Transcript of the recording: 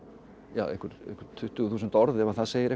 einhver tuttugu þúsund orð ef það segir eitthvað